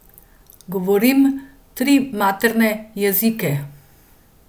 Govorim tri materne jezike.